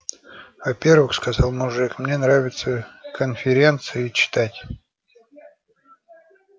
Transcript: во-первых сказал мужик мне нравится конференции читать